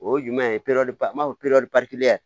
O ye jumɛn ye n b'a fɔ